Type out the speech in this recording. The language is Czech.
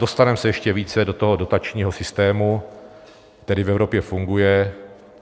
Dostaneme se ještě více do toho dotačního systému, který v Evropě funguje.